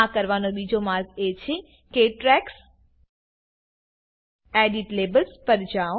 આ કરવાનો બીજો માર્ગ એ છે કે ટ્રેક્સ એડિટ લેબલ્સ પર જાવ